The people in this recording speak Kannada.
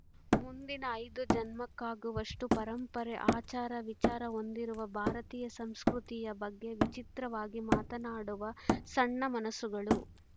ಮುಂದಿನ ಐದು ಜನ್ಮಕ್ಕಾಗುವಷ್ಟು ಪರಂಪರೆ ಆಚಾರ ವಿಚಾರ ಹೊಂದಿರುವ ಭಾರತೀಯ ಸಂಸ್ಕೃತಿಯ ಬಗ್ಗೆ ವಿಚಿತ್ರವಾಗಿ ಮಾತನಾಡುವ ಸಣ್ಣ ಮನಸ್ಸುಗಳು